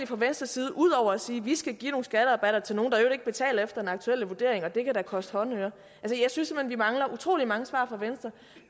fra venstres side ud over at sige at vi skal give nogle skatterabatter til nogle der i øvrigt ikke betaler efter den aktuelle vurdering og det kan da koste håndøre jeg synes vi mangler utrolig mange svar fra venstre